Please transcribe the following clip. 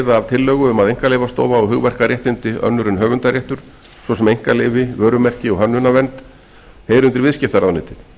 af tillögu um að einkaleyfastofa og hugverkaréttindi önnur en höfunda réttur svo sem einkaleyfi vörumerki og hönnunarvernd heyri undir viðskiptaráðuneytið